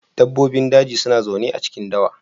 Dabbobin daji suna zaune a cikin dawa.